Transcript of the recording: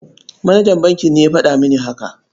Manajan bankin ne ya faɗa mini haka.